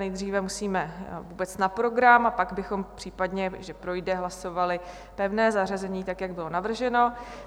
Nejdříve musíme vůbec na program, a pak bychom případně, když projde, hlasovali pevné zařazení tak, jak bylo navrženo.